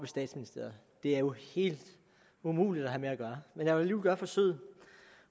statsministeriet det er jo helt umuligt at have med at gøre men jeg vil alligevel gøre forsøget